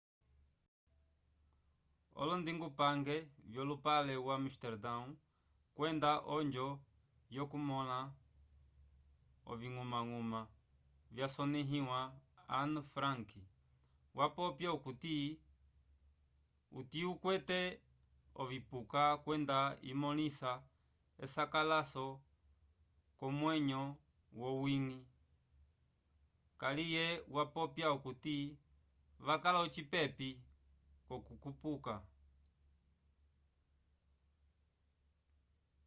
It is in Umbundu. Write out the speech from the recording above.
olondingupange vyolupale wo amestardão kwenda onjo yokumõla oviñgumañguma vyasonẽhiwa anne frank vapopya okuti utiukwete ovipuka kwenda imõlisa esakalaso k'omwenyo yowiñgi kaliye vapopya okuti vakala ocipepi k'okupuka